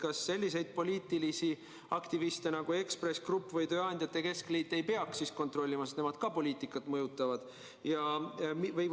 Kas selliseid poliitilisi aktiviste nagu Ekspress Grupp või tööandjate keskliit ei peaks kontrollima, sest nemad ka mõjutavad poliitikat?